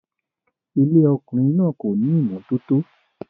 Ilé ọkùnrin náà kò ní ìmọ́tótó